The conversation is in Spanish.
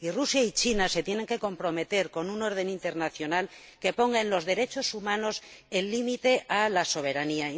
Rusia y China se tienen que comprometer con un orden internacional que ponga en los derechos humanos el límite a la soberanía